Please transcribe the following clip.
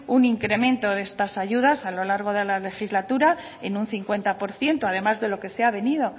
un incremento de estas ayudas a lo largo de la legislatura en un cincuenta por ciento además de lo que se ha venido